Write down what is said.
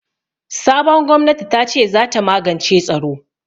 Sabon gwamnati tace zata magance tsaro.